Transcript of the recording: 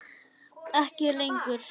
Ekki lengur.